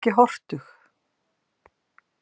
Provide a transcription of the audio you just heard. Vertu ekki hortug.